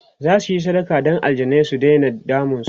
zasuyi sadaka Dan aljanai su Daina damun su